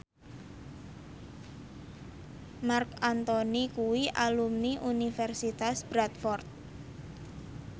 Marc Anthony kuwi alumni Universitas Bradford